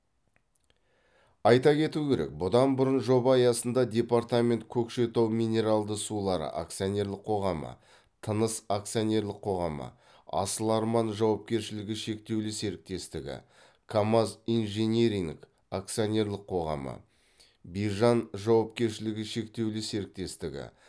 айта кету керек бұдан бұрын жоба аясында департамент көкшетау минералды сулары акционерлік қоғамы тыныс акционерлік қоғамы асыл арман жауапкершілігі шектеулі серіктестігі камаз инжиниринг акционерлік қоғамы бижан жауапкершілігі шектеулі серіктестігі